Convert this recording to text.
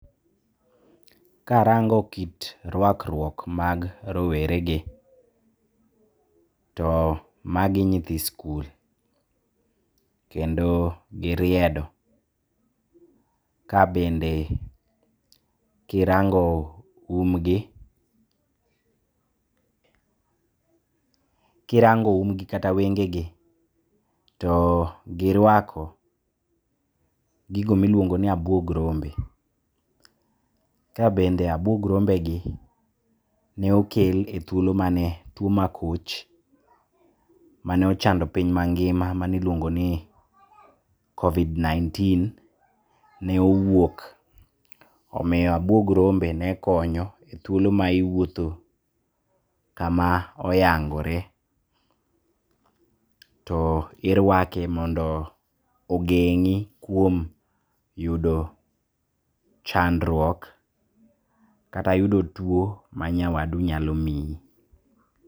Karango kit rwakruok mag rowere gi, to magi nyithi sikul. Kendo giriedo. Ka bende kirango um gi, kirango umgi kata wengegi, to girwako gigo ma iluongo ni abuog rombe. Ka bende abuog rombe gi ne okel e thuolo mane two ma koch, mane ochando piny mangima mane iluongo ni Covid19 ne owuok. Omiyo abuog rombe nekonyo e thuole mane iwuotho kama oyangore. To irwake mondo ogeng'i kuom yudo chandruok kata yudo two manyawadu nyalo mii.